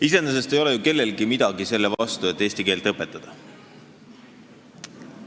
Iseenesest ei ole ju kellelgi midagi selle vastu, et eesti keelt õpetada.